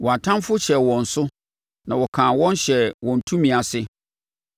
Wɔn atamfoɔ hyɛɛ wɔn so na wɔkaa wɔn hyɛɛ wɔn tumi ase.